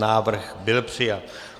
Návrh byl přijat.